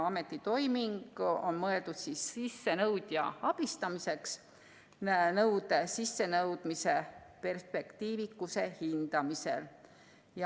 Ametitoiming on mõeldud sissenõudja abistamiseks nõude sissenõudmise perspektiivikuse hindamisel.